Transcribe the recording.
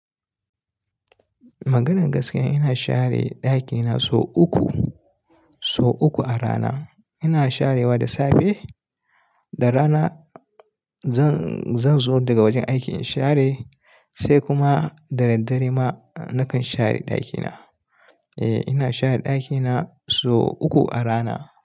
Maganin gaskiya ina share ɗakina sau uku, sau uku a rana. Ina sharewa da safe, da rana zan, zan zo daga wajen aiki in share, sai kuma da daddare ma nakan share ɗakina. Eh ina share ɗakina sau uku a rana.